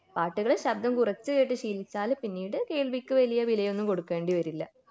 പാട്ടുകൾ ശബദം കുറച്ച് കേട്ട് ശീലിച്ചാൽ പിന്നീട് കേൾവിക്ക് വലിയ വിലയൊന്നും കൊടുക്കേണ്ടി വരില്ല